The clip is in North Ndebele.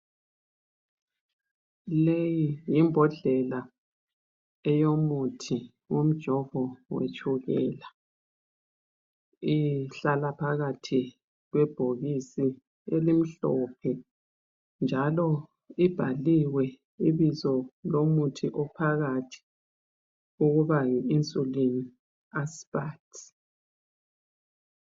Leyi yimbodlela eyomuthi womjovo wetshukela. Ihlala phakathi kwebhokisi elimhlophe njalo ibhaliwe ibizo lomuthi ophakathi ukuba yi Insulin Aspart.